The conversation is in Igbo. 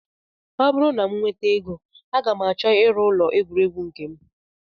Ọ bụrụ na m nweta ego aga m achọ ịrụ ụlọ egwuregwu nke m